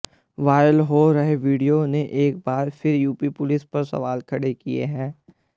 viral हो रहे video ने एक बार फिर यूपी पुलिस पर सवाल खड़े किए हैं